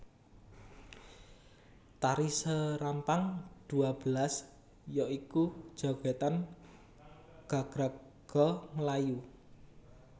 Tari Serampang Dua Belas ya iku jogèdan gagraga Melayu